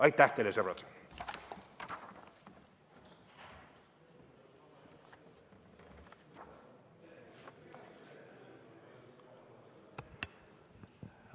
Aitäh teile, sõbrad!